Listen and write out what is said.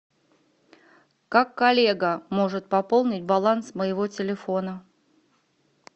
как коллега может пополнить баланс моего телефона